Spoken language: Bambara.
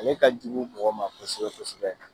Ale ka jugu mɔgɔ ma kosɛbɛ kosɛbɛ